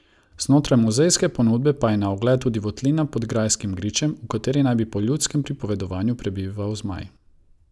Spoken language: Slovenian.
Znotraj muzejske ponudbe pa je na ogled tudi votlina pod grajskim gričem, v kateri naj bi po ljudskem pripovedovanju prebival zmaj.